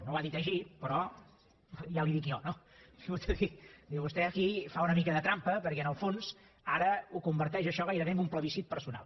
no ho ha dit així però ja li ho dic jo no diu vostè aquí fa una mica de trampa perquè en el fons ara converteix això gairebé en un plebiscit personal